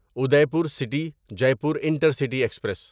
Udaipur city Jaipur intercity express